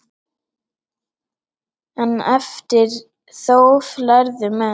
En eftir þóf lærðu menn.